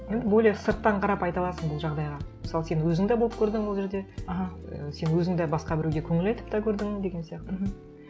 і более сырттан қарап айта аласың бұл жағдайға мысалы сен өзің де болып көрдің ол жерде аха ы сен өзің де басқа біреуге көңіл айтып та көрдің деген сияқты мхм